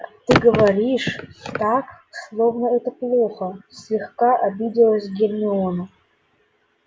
ты говоришь так словно это плохо слегка обиделась гермиона